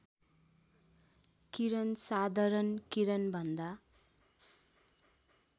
किरण साधारण किरणभन्दा